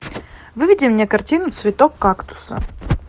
выведи мне картину цветок кактуса